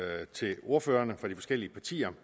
tak til ordførerne for de forskellige partier